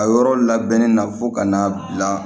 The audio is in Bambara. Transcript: A yɔrɔ labɛnnen na fo ka n'a bila